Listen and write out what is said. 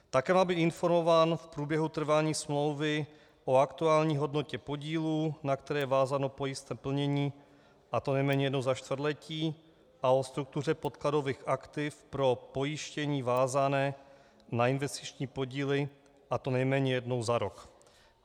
Také má být informován v průběhu trvání smlouvy o aktuální hodnotě podílu, na které je vázáno pojistné plnění, a to nejméně jednou za čtvrtletí, a o struktuře podkladových aktiv pro pojištění vázané na investiční podíly, a to nejméně jednou za rok.